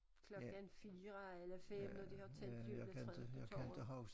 Klokken 4 eller 5 når de har tændt juletræet på torvet